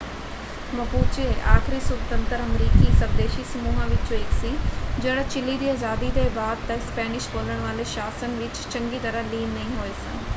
Mapuche ਆਖਰੀ ਸੁਤੰਤਰ ਅਮਰੀਕੀ ਸਵਦੇਸ਼ੀ ਸਮੂਹਾਂ ਵਿੱਚੋਂ ਇੱਕ ਸੀ ਜਿਹੜਾ ਚਿਲੀ ਦੀ ਆਜ਼ਾਦੀ ਦੇ ਬਾਅਦ ਤੱਕ ਸਪੈਨਿਸ਼ ਬੋਲਣ ਵਾਲੇ ਸ਼ਾਸਨ ਵਿੱਚ ਚੰਗੀ ਤਰ੍ਹਾਂ ਲੀਨ ਨਹੀਂ ਹੋਏ ਸਨ।